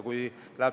Loodame.